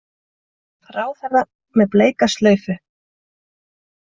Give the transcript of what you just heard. Ráðherra með bleika slaufu